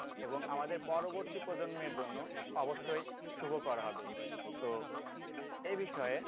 এবং আমাদের পরবর্তী প্রজন্মের জন্য অবশ্যই শুভকর হবে তো এই বিষয়ে